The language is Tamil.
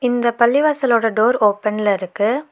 இந்த பள்ளிவாசலோட டோர் ஓப்பன்ல இருக்கு.